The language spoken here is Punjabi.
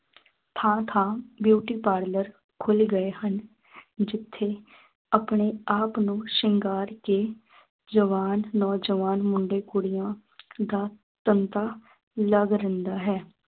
ਥਾਂ ਥਾਂ beauty parlor ਖੁੱਲ ਗਏ ਹਨ ਜਿੱਥੇ ਆਪਣੇ ਆਪ ਨੂੰ ਸ਼ਿੰਗਾਰ ਕੇ ਜਵਾਨ ਨੌਜਵਾਨ ਮੁੰਡੇ ਕੁੜੀਆਂ ਦਾ ਧੰਦਾ ਲਗ ਰਹਿੰਦਾ ਹੈ।